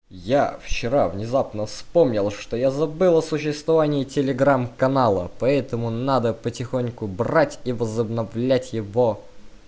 я вчера внезапно вспомнил что я забыл о существовании телеграм-канала поэтому надо потихоньку брать и возобновлять его